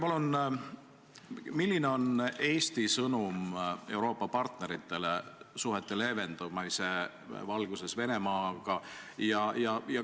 Milline on Eesti sõnum Euroopa partneritele suhete leevendumise valguses Venemaaga?